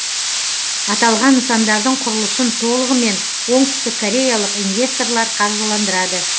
аталған нысандардың құрылысын толығымен оңтүстіккореялық инвесторлар қаржыландырады